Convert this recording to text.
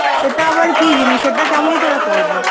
সেটা আবার কি জিনিস? সেটা কেমন করে করবো?